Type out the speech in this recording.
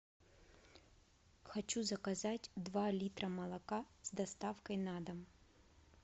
хочу заказать два литра молока с доставкой на дом